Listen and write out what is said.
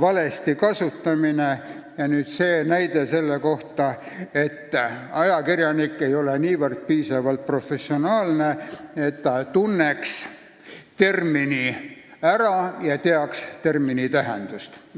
valesti kasutamist ja nüüd veel see näide, et ajakirjanik ei ole piisavalt professionaalne, et ta tunneks termini ära ja teaks selle tähendust.